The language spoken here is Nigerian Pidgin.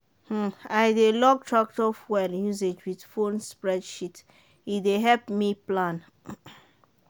um i dey log tractor fuel usage with phone spreadsheet e dey help me plan.